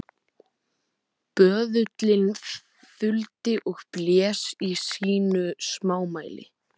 Böðullinn þuldi og blés í sínu smámæli: